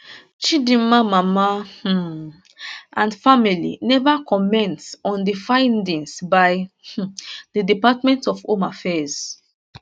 chidimma mama um and family neva comment on di findings by um di department of home affairs